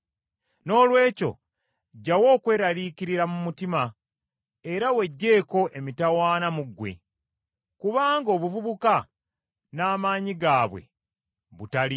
Noolwekyo ggyawo okweraliikirira mu mutima era weggyeko emitawaana mu ggwe, kubanga obuvubuka n’amaanyi gaabwe butaliimu.